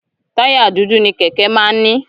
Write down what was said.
Táyà dúdú ni Kẹ̀kẹ́ máa ń ní.